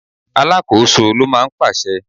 Alákòóso ló máa ń pàṣẹ.